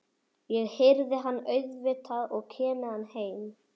Og ég hirði hann auðvitað og kem með hann heim.